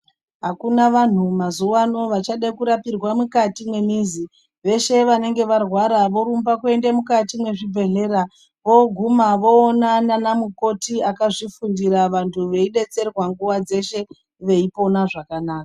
Akuna vanhu mazuwano vachade kurapirwa mukati mwemizi, veshe vanenge varwara vorumba kuende mukati mwezvibhedhlera voguma voona anamukoti akazvifundira vantu veibetserwa nguwa dzeshe veipona zvakanaka.